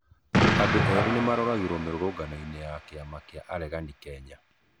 Andũ eerĩ nĩmaroragĩrwo mĩrũrũngano-nĩ ya kĩama kĩa ureganĩ Kenya